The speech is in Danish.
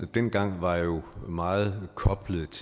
dengang var jo meget koblet